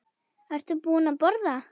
Ertu búin að borða?